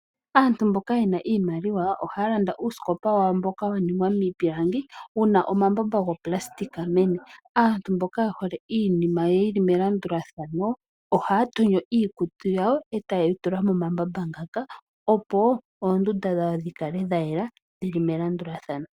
Aantu mboka yena iimaliwa ohaya landa uusikopa wayo mboka wa ningwa miipilangi wuna omambamba gooplasitika meni. Aantu mboka yehole iininima yawo yili melandulathano ohaya tonyo iikutu yawo eta ye yi tula momambamba ngaka opo oondunda dhawo dhikale dha yela dhili melandulathano.